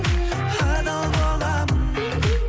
адал боламын